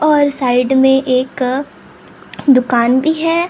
और साइड में एक दुकान भी है और।